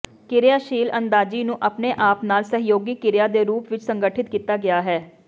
ਕਿਰਿਆਸ਼ੀਲ ਅੰਦਾਜ਼ੀ ਨੂੰ ਆਪਣੇ ਆਪ ਨਾਲ ਸਹਿਯੋਗੀ ਕਿਰਿਆ ਦੇ ਰੂਪ ਵਿਚ ਸੰਗਠਿਤ ਕੀਤਾ ਗਿਆ ਹੈ